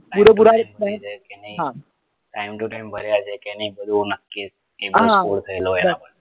પુરેપુરા હા time to time ભર્યા છે કે નહિ એવું નક્કી હા બસ